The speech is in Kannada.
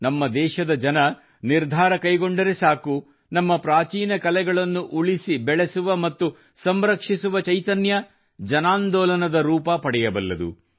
ನಮ್ಮ ದೇಶದ ಜನ ನಿರ್ಧಾರ ಕೈಗೊಂಡರೆ ಸಾಕು ನಮ್ಮ ಪ್ರಾಚೀನ ಕಲೆಗಳನ್ನು ಉಳಿಸಿ ಬೆಳೆಸುವ ಮತ್ತು ಸಂರಕ್ಷಿಸುವ ಚೈತನ್ಯ ಜನಾಂದೋಲನದ ರೂಪ ಪಡೆಯಬಲ್ಲುದು